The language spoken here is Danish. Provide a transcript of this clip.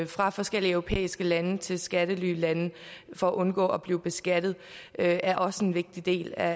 fra forskellige europæiske lande til skattelylande for at undgå at blive beskattet er også en vigtig del af